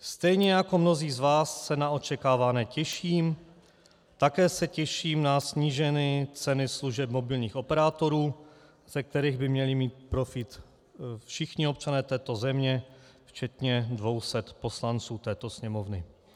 Stejně jako mnozí z vás se na očekávané těším, také se těším na snížené ceny služeb mobilních operátorů, ze kterých by měli mít profit všichni občané této země, včetně 200 poslanců této Sněmovny.